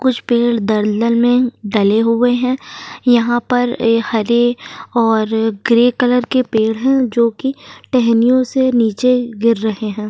कुछ पेड़ दल दल में डले हुये हैं। यहाँ पर हरे और ग्रे कलर के पेड़ है जो की टहनियों से नीचे गिर रहे हैं।